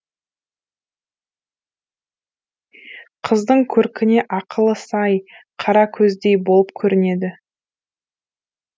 қыздың көркіне ақылы сай қаракөздей болып көрінеді